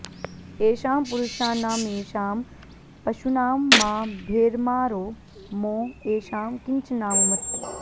ए॒षां पुरु॑षाणामे॒षां प॑शू॒नां मा भेर्माऽरो॒ मो ए॑षां॒ किञ्च॒नाम॑मत्